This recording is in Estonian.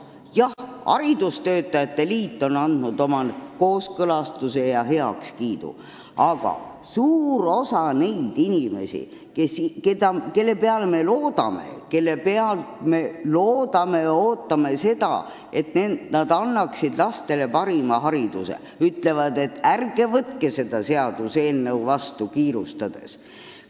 Jah, haridustöötajate liit on andnud oma kooskõlastuse ja heakskiidu, aga suur osa neid inimesi, kelle peale me loodame, kellelt me ootame, et nad annaksid lastele parima hariduse, ütlevad, et ärge võtke seda seadust kiirustades vastu.